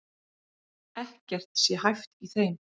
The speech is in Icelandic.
Ekkert sé hæft í þeim